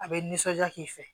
A bɛ nisɔndiya k'i fɛ